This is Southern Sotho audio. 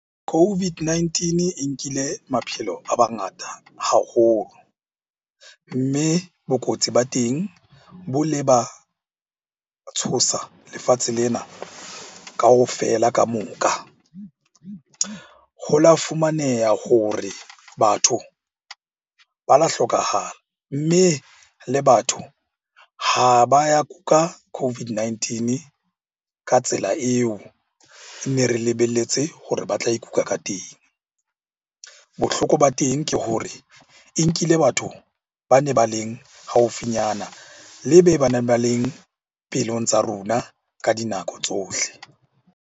COVID-19 e nkile maphelo a mangata haholo. Mme bokotsi ba teng bo le ba tshosa lefatshe lena kaofela kamoka. Ho la fumaneha hore batho ba lo hlokahala, mme le batho ha ba ya kuka COVID-19 ka tsela eo ne re lebelletse hore ba tla ikuka ka teng. Bohloko ba teng ke hore e nkile batho ba ne ba leng haufinyana, le be baneng ba leng pelong tsa rona ka dinako tsohle.